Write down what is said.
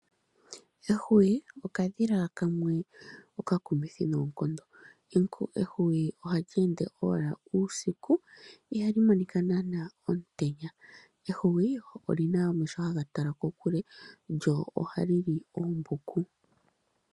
Ehwiyu okadhila kamwe oka kumithi nonkondo, ehwiyu ohali ende owala uusiku ihali monika nanawa omutenya, ehwiyu olyina omeho hagatala kokule lyo oha lili ombuku.